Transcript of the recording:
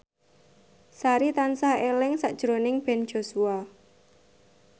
Sari tansah eling sakjroning Ben Joshua